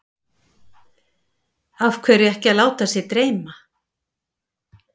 Af hverju ekki að láta sig dreyma?